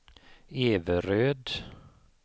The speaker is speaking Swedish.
Everöd